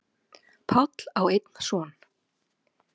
Páll á einn son.